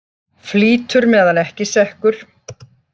Flýtur meðan ekki sekkur.